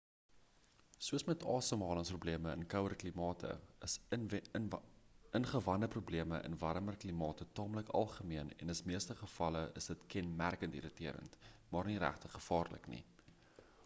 soos met asemhalingsprobleme in kouer klimate is ingewandeprobleme in warmer klimate taamlik algemeen en in meeste gevalle is dit kenmerkend irriterend maar nie regtig gevaarlik nie